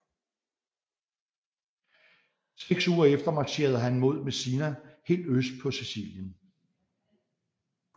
Seks uger efter marcherede han mod Messina helt øst på Sicilien